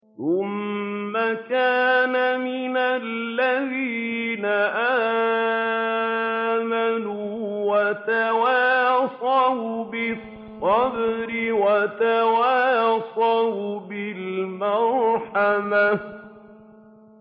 ثُمَّ كَانَ مِنَ الَّذِينَ آمَنُوا وَتَوَاصَوْا بِالصَّبْرِ وَتَوَاصَوْا بِالْمَرْحَمَةِ